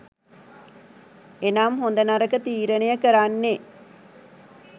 එනම් හොඳ නරක තීරණය කරන්නේ